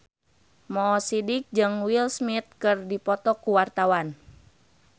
Mo Sidik jeung Will Smith keur dipoto ku wartawan